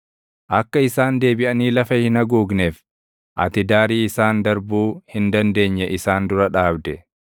Akka isaan deebiʼanii lafa hin haguugneef ati daarii isaan darbuu hin dandeenye isaan dura dhaabde.